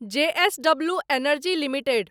जे S W energy limited